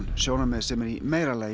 sjónarmið sem er í meira lagi